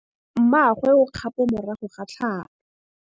Mmagwe o kgapô morago ga tlhalô.